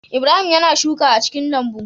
Ibrahim yAna shuka a cikin lambu